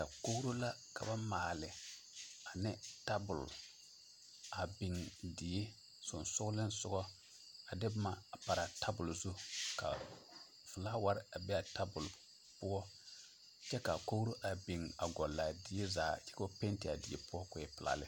Dakogro la ka ba maale ane tabol a beŋ die sogsogliŋsogɔ a de boma a paraa a tabol zu ka filaaware a be a tabol poɔ kyɛ ka dakogro a beŋ gɔllaa die zaa kyɛ ka ba penti a die poɔ koo e pelaa lɛ.